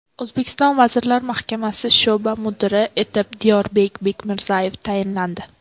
O‘zbekiston Vazirlar Mahkamasi sho‘ba mudiri etib Diyorbek Bekmirzayev tayinlandi.